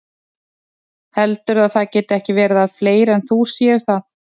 Heldurðu að það geti ekki verið að fleiri en þú séu það?